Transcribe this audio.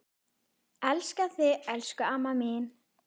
Elska þig elsku amma mín.